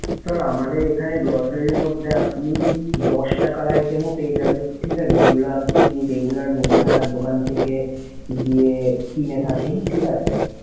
Sir আমাদের এখানে grocery র মধ্যে আপনি দশ টাকার item ও পেয়ে যাবেন। ঠিক আছে? যেইগুলা আপনি regular মুদিখানার দোকান থেকে গিয়ে কিনে থাকেন। ঠিক আছে?